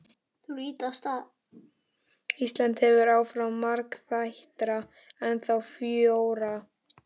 Íslands heldur áfram, margþættara, ennþá frjórra.